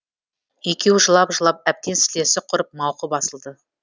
екеуі жылап жылап әбден сілесі құрып мауқы басылды